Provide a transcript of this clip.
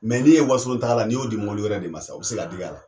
Mɛ ni ye wasolon tagala ni y'o di mɔbili wɛrɛ de ma sa o be se ka dig'ala